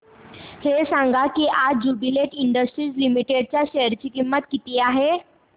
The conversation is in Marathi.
हे सांगा की आज ज्युबीलेंट इंडस्ट्रीज लिमिटेड च्या शेअर ची किंमत किती आहे